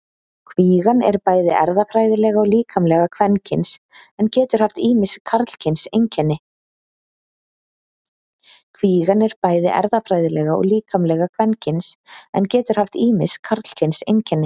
Kvígan er bæði erfðafræðilega og líkamlega kvenkyns en getur haft ýmis karlkyns einkenni.